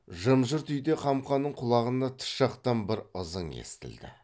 жым жырт үйде қамқаның құлағына тыс жақтан бір ызың естілді